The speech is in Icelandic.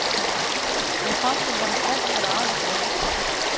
Mér fannst við vera sterkari aðilinn í leiknum.